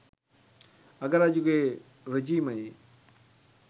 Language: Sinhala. අග රජුගේ රෙජීමයේ